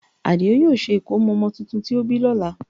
Àdìó yóò ṣe ìkómọ ọmọ tuntun tó bí lọ́la